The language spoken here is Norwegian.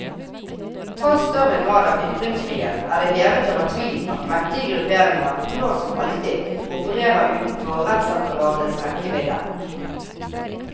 Tross større grad av ytringsfrihet er det hevet over tvil at mektige grupperinger, nå som alltid, opererer utenfor rettsapparatets rekkevidde.